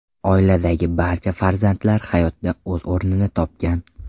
Oiladagi barcha farzandlar hayotda o‘z o‘rnini topgan.